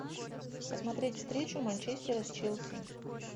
посмотреть встречу манчестера с челси